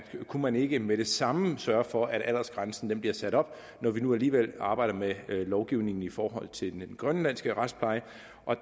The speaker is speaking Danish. man ikke med det samme kan sørge for at aldersgrænsen bliver sat op når vi nu alligevel arbejder med lovgivningen i forhold til den grønlandske retspleje